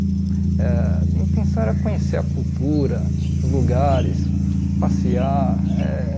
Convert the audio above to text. Eh minha intenção era conhecer a cultura, os lugares, passear eh.